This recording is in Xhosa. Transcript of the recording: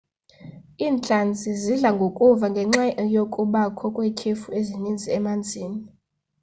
iintlanzi zidla ngokufa ngenxa yokubakho kwetyhefu eninzi emanzini